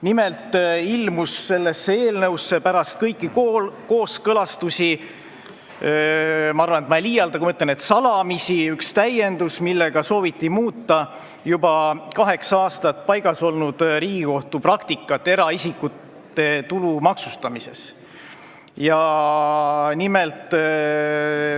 Nimelt ilmus sellesse eelnõusse pärast kõiki kooskõlastusi – ma arvan, et ma ei liialda, kui ma ütlen, et salamisi – üks täiendus, millega sooviti muuta juba kaheksa aastat paigas olnud Riigikohtu praktikat seoses eraisikute tulumaksustamisega.